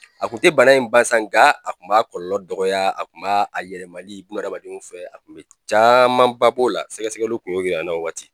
A kun te bana in ba san nka a kun b'a kɔlɔlɔ dɔgɔya a kun b'a yɛlɛmali buna adamadenw fɛ, a kun be camanba b'o la sɛgɛsɛgɛli kun y'o yir'an na o waati